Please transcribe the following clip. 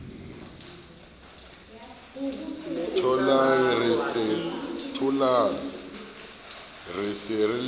tholang re se re le